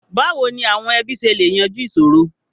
Báwo ni àwọn ẹbí ṣe lè yanjú ìṣòro?